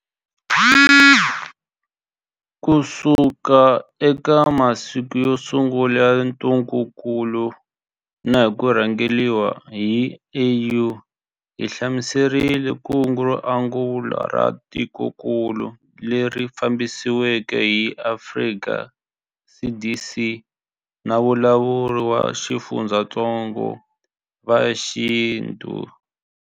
Kusuka eka masiku yo sungula ya ntungukulu na hi ku rhangeriwa hi AU, hi humelerisile kungu ro angula ra tikokulu, leri fambisiweke hi Afrika CDC na valawuri va xifundzatsongo va xintu.